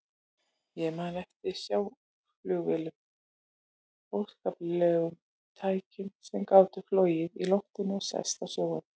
Ég man eftir sjóflugvélum, óskaplegum tækjum sem gátu flogið í loftinu og sest á sjóinn.